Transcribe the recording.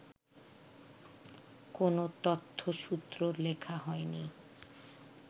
কোনো তথ্যসূত্র লেখা হয়নি